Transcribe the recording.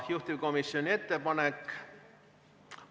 Juhtivkomisjoni ettepanek ...